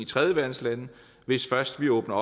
tredjeverdenslande hvis først vi åbner